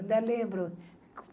Ainda lembro.